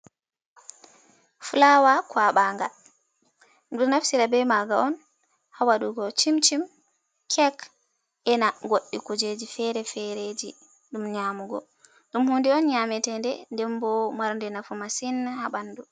Flawa kwaɓanga ɗum naftira be maga on ha waɗugo chim chim kek ena goddi kujeji fere-fere ɗum nyamugo, ɗum hunde on nyametende, ndembo marnde nafu masin ha ɓandu,